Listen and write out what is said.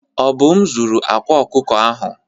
Obum zuru akwa ọkụkọ ahụ.